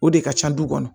O de ka ca du kɔnɔ